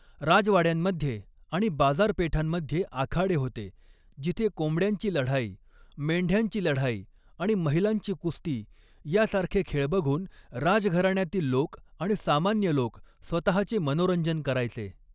राजवाड्यांमध्ये आणि बाजारपेठांमध्ये आखाडे होते जिथे कोंबड्यांची लढाई, मेंढ्याची लढाई आणि महिलांची कुस्ती, यासारखे खेळ बघून राजघराण्यातील लोक आणि सामान्य लोक स्वतःचे मनोरंजन करायचे.